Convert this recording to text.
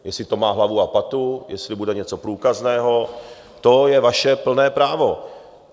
Jestli to má hlavu a patu, jestli bude něco průkazného, to je vaše plné právo.